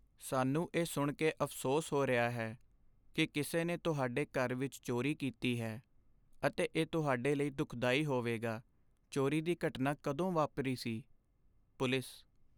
ਸਾਨੂੰ ਇਹ ਸੁਣ ਕੇ ਅਫ਼ਸੋਸ ਹੋ ਰਿਹਾ ਹੈ ਕੀ ਕਿਸੇ ਨੇ ਤੁਹਾਡੇ ਘਰ ਵਿੱਚ ਚੋਰੀ ਕੀਤੀ ਹੈ ਅਤੇ ਇਹ ਤੁਹਾਡੇ ਲਈ ਦੁੱਖਦਾਈ ਹੋਵੇਗਾ ਚੋਰੀ ਦੀ ਘਟਨਾ ਕਦੋਂ ਵਾਪਰੀ ਸੀ? ਪੁਲਿਸ